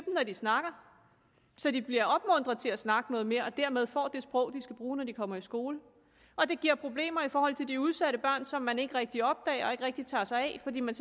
når de snakker så de bliver opmuntret til at snakke noget mere og dermed får det sprog de skal bruge når de kommer i skole og det giver problemer i forhold til de udsatte børn som man ikke rigtig opdager og ikke rigtig tager sig af fordi man